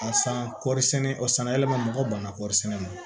A san kɔri sɛnɛ o sanyɛlɛma mɔgɔw ban na kɔɔri sɛnɛ na